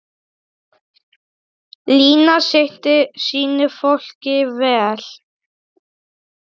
Lína sinnti sínu fólki vel.